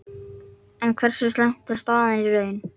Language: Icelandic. En hversu slæm er staðan í raun?